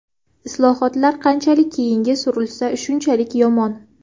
Islohotlar qanchalik keyinga surilsa, shunchalik yomon.